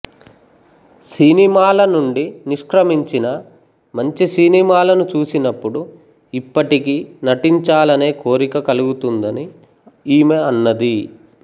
సినిమాలనుండి నిష్క్రమించినా మంచి సినిమాలను చూసినప్పుడు ఇప్పటికీ నటించాలనే కోరిక కలుగుతుందని ఈమె అన్నది